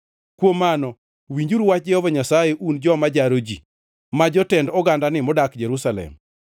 Kuom mano winjuru wach Jehova Nyasaye un joma jaro ji ma, jotend ogandani modak Jerusalem.